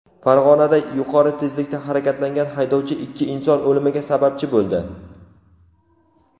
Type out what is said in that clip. Farg‘onada yuqori tezlikda harakatlangan haydovchi ikki inson o‘limiga sababchi bo‘ldi.